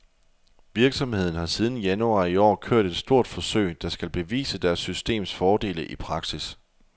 Virksomheden har siden januar i år kørt et stort forsøg, der skal bevise deres systems fordele i praksis.